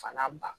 Fana ban